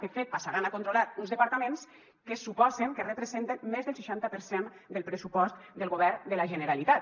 de fet passaran a controlar uns departaments que suposen que representen més del seixanta per cent del pressupost del govern de la generalitat